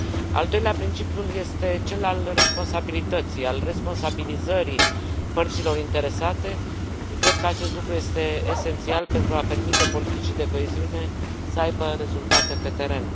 Al doilea principiu este cel al responsabilității, al responsabilizării părților interesate. Cred că acest lucru este esențial pentru a permite politicii de coeziune să aibă rezultate pe teren.